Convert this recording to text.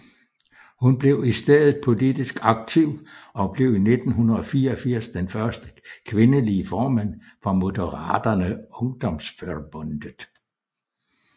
Hun blev i stedet politisk aktiv og blev i 1984 den første kvindelige formand for Moderata Ungdomsförbundet